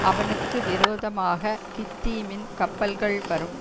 அவனுக்கு விரோதமாகக் கித்தீமின் கப்பல்கள் வரும்